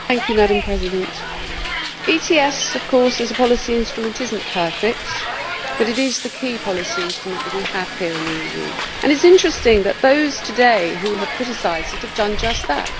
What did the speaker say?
Madam President, of course ETS as a policy instrument is not perfect, but it is the key policy instrument that we have here in the EU, and it is interesting that those today who have criticised it have done just that.